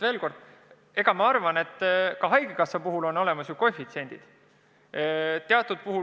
Veel kord: ka haigekassa puhul kehtivad ju erinevad koefitsiendid.